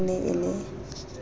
ha e ne e le